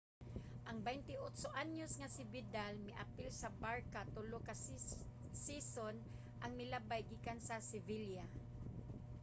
ang 28-anyos nga si vidal miapil sa barça tulo ka season ang milabay gikan sa sevilla